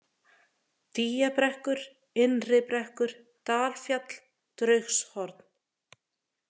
Dýjabrekkur, Innribrekkur, Dalfjall, Draugshorn